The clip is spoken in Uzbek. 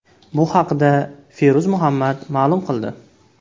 Bu haqda Feruz Muhammad ma’lum qildi.